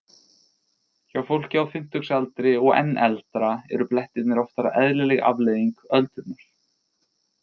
Hjá fólki á fimmtugsaldri og enn eldra eru blettirnir oftar eðlileg afleiðing öldrunar.